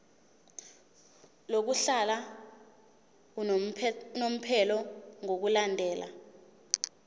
lokuhlala unomphela ngokulandela